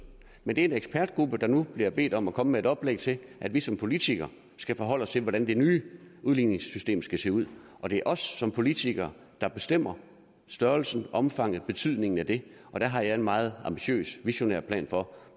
men det er en ekspertgruppe der nu bliver bedt om at komme med et oplæg til at vi som politikere skal forholde os til hvordan det nye udligningssystem skal se ud og det er os som politikere der bestemmer størrelsen omfanget betydningen af det og der har jeg en meget ambitiøs visionær plan for